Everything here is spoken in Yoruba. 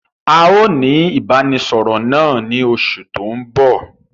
A ó ní ìbánisọọ̀rọ̀ náà ni oṣù tòun bọ̀.